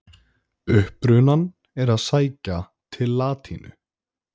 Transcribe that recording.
Upprunann er að sækja til latínu.